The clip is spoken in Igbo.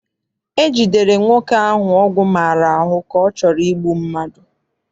E jidere nwoke ahụ ọgwụ maara ahụ ka ọ chọrọ igbu mmadụ.